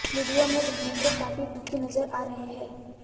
video में धर्मेंद्र काफी दुखी नजर आ रहे हैं